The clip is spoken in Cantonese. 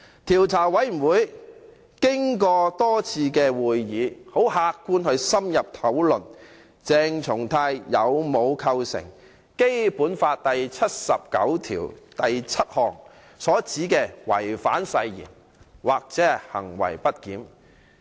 調查委員會經過多次會議，很客觀地深入討論鄭松泰的行為有否構成《基本法》第七十九條第七項所指的違反誓言及行為不儉。